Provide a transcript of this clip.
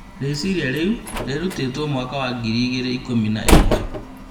Rĩciria rĩu rĩrutĩtwo mwaka wa ngiri igĩrĩ ikũmi na ĩmwe